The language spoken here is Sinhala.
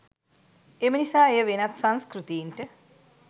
එමනිසා එය වෙනත් සංස්කෘතීන්ට